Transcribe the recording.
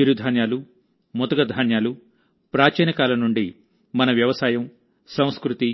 చిరుధాన్యాలు ముతక ధాన్యాలు ప్రాచీన కాలం నుండి మన వ్యవసాయం సంస్కృతి